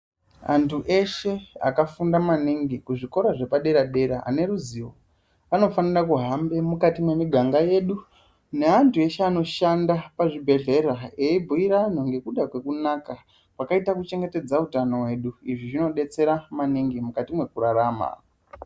Antu eshe akafunda maningi kuzvikora zvepadera-dera ane ruzivo anofanira kuhambe mukati mwemiganga yedu. Neantu eshe anoshanda pazvibhehlera, eibhuira anhu ngekuda kwekunaka kwakaita kuchengetedza utano hwedu. Izvi zvinodetsera maningi mukati mwekurarama.